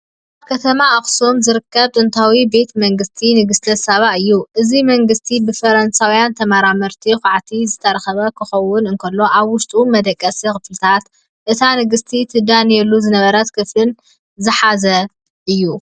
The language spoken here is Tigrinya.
ኣብ ከተማ ኣክሱም ዝርከብ ጥንታዊ ቤተ መንግስቲ ንግስተ ሳባ እዩ ። እዚ ቤተ መንግስቲ ብፈረንሳውያን ተመራመርቲ ኳዕቲ ዝተረኸበ ክኸውን እንከሎ ኣብ ውሽጡ መደቀሲ ክፍልታትን እታ ንግስቲ ትዳንየሉ ዝነበረ ክፍልን ዝሓዘ እዩ።